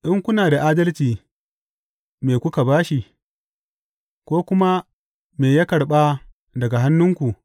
In kuna da adalci, me kuka ba shi, ko kuma me ya karɓa daga hannunku?